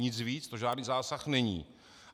Nic víc, to žádný zásah není